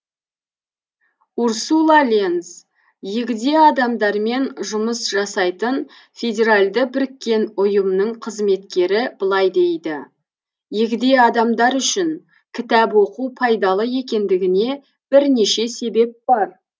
урсула ленз егде адамдармен жұмыс жасайтын федеральды біріккен ұйымның қызметкері былай дейді егде адамдар үшін кітап оқу пайдалы екендігіне бірнеше себеп бар